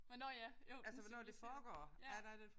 Men nåh ja jo det civiliseret ja